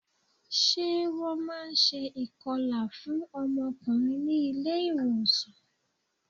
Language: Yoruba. Ṣé wọn máa ń ṣe ìkọlà fún ọmọkùnrin ní ilé ìwòsàn?